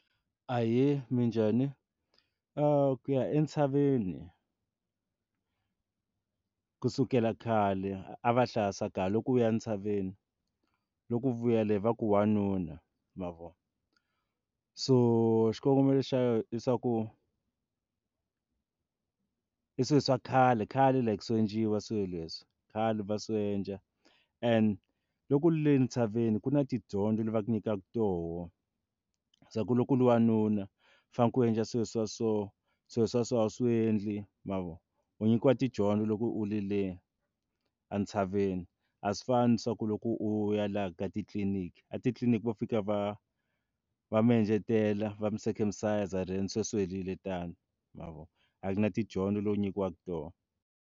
Ahee, minjhani? ku ya entshaveni kusukela khale a va hlaya swa ku loko u ya ntshaveni loku u vuya le va ku u wanuna ma vo so xikongomelo xa yo i swa ku, i swi swa khale khale like swi endliwa swilo leswi khale va swiendla and loko le ntshaveni ku na tidyondzo lava nyikaka toho swa ku loko u ri wanuna faneke ku endla swilo swa so swilo swa so swi endli ma vo u nyikiwa tidyondzo loko u ri le entshaveni a swi fani ni swa ku loko ku u ya laha ka titliliniki a titliliniki vo fika va va mi endletela va mi circumise then se swi helile tano ma vo a ku na tidyondzo leti u nyikiwaka hi tona.